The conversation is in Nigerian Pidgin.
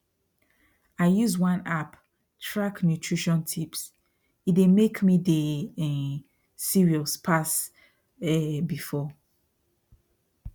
i use one app track nutrition tipse make me dey um serious pass um before